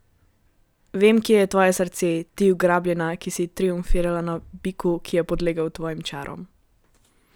Vem, kje je tvoje srce, ti ugrabljena, ki si triumfirala na biku, ki je podlegel tvojim čarom.